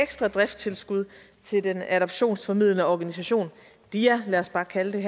ekstra driftstilskud til den adoptionsformidlende organisation dia lad os bare kalde den